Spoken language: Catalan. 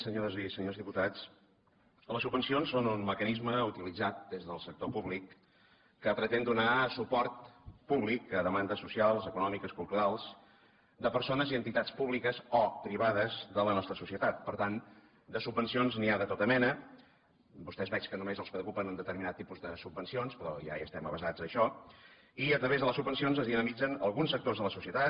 senyores i senyors diputats les subvencions són un mecanisme utilitzat des del sector públic que pretén donar suport públic a demandes socials econòmiques culturals de persones i entitats públiques o privades de la nostra societat per tant de subvencions n’hi ha de tota mena vostès veig que només els preocupa un determinat tipus de subvencions però ja hi estem avesat a això i a través de les subvencions es dinamitzen alguns sectors de la societat